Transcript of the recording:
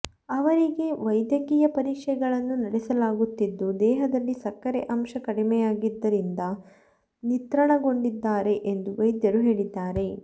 ಅವರಿಗೆ ವೈದ್ಯಕೀಯ ಪರೀಕ್ಷೆಗಳನ್ನು ನಡೆಸಲಾಗುತ್ತಿದ್ದು ದೇಹದಲ್ಲಿ ಸಕ್ಕರೆ ಅಂಶ ಕಡಿಮೆಯಾದರಿಂದ ನಿತ್ರಾಣಗೊಂಡಿದ್ದಾರೆ ಎಂದು ವೈದ್ಯರು ಹೇಳಿದ್ದಾರೆ